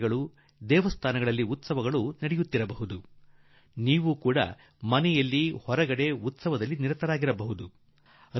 ಮಂದಿರ ದೇವಸ್ಥಾನಗಳಲ್ಲಿ ಉತ್ಸವಗಳು ಆಗುತ್ತವೆ ಮತ್ತು ನೀವೂ ಕೂಡಾ ಮನೆಯಲ್ಲಿ ಹೊರಗೆ ಉತ್ಸವಗಳಲ್ಲಿ ಭಾಗಿಯಾಗುತ್ತೀರಿ